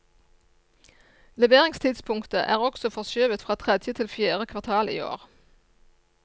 Leveringstidspunktet er også forskjøvet fra tredje til fjerde kvartal i år.